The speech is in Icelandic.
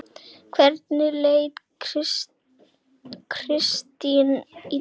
Hvernig lét Kristín í dag?